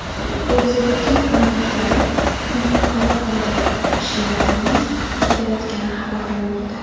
Velosipedchining qarindoshlari uni qutqarib qolgan kishilarni qidirayotgani xabar qilinmoqda.